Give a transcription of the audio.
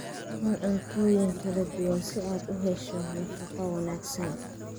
Cun cuntooyin kala duwan si aad u hesho nafaqo wanaagsan.